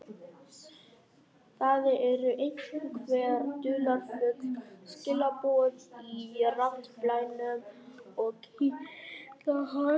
Það eru einhver dularfull skilaboð í raddblænum sem kitla hann.